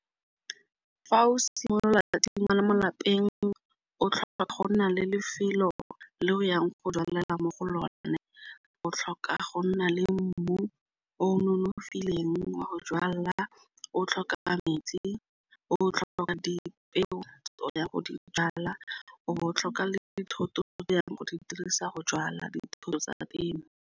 Fa o simolola thata tshingwana mo lapeng o tlhoka go nna le lefelo le o yang go jwalela mo go lone. O tlhoka go nna le mmu o nonofileng wa go jala. O tlhoka metsi, o tlhoka dipeo ya go di jala o bo o tlhoka le dithoto di yang go di dirisa go jala ditšhono tsa temo.